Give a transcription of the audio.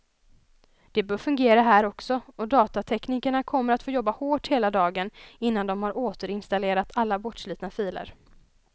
Det bör fungera här också, och datateknikerna kommer att få jobba hårt hela dagen innan de har återinstallerat alla bortslitna filer.